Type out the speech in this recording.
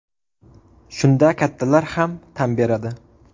Shunda kattalar ham tan beradi.